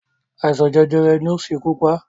Àìsàn jẹjẹrẹ ni ó ṣekú pá